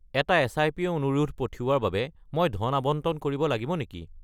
এটা এছআইপি অনুৰোধ পঠিওৱাৰ বাবে মই ধন আবণ্টন কৰিব লাগিব নেকি?